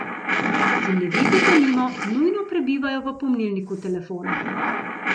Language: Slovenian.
Zemljevidi, denimo, nujno prebivajo v pomnilniku telefona.